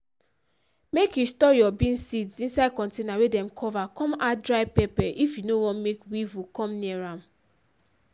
make you store your bean seeds inside container wey dem cover com add dry pepper if you nor want make weevil com near am.